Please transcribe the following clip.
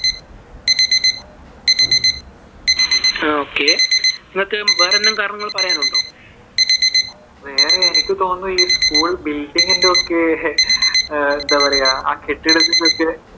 okay വേറെ എന്തെങ്കിലും കാരണങ്ങൾ പറയാനുണ്ടോ? വേറെ എനിക്ക് തോന്നുന്നു, ഈ school building ഇന്റെ ഒക്കെ എന്താ പറയുവാ ആ കെട്ടിടത്തിന്റെ ഒക്കെ